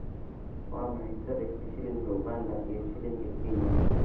waa maxay sarifka shilinka uganda iyo shilinka kenya